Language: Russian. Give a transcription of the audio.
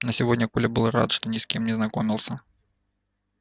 но сегодня коля был рад что ни с кем не знакомился